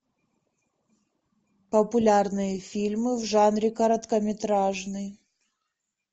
популярные фильмы в жанре короткометражный